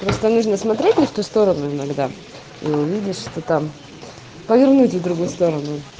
просто нужно смотреть не в ту сторону иногда ну видишь что там повернуть их в другую сторону